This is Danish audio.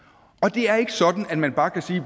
det er ikke sådan at man bare kan sige